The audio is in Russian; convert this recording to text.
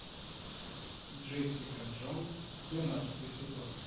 джессика джонс двенадцатый сезон